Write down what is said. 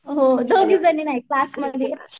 हो दोघी जणी नाही सास माझी.